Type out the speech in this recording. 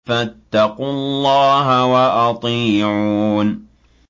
فَاتَّقُوا اللَّهَ وَأَطِيعُونِ